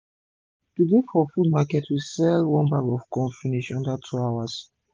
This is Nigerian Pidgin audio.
today for food market we sell one bag of fresh corn finish under two hours